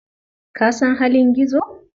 Ka san halin Gizo?